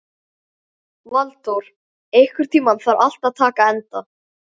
Valdór, einhvern tímann þarf allt að taka enda.